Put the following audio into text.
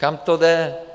Kam to jde?